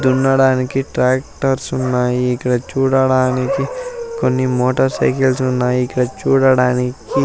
దున్నడానికి ట్రాక్టర్స్ ఉన్నాయి ఇక్కడ చూడడానికి కొన్ని మోటర్ సైకిల్స్ ఉన్నాయి ఇక్కడ చూడడానికి--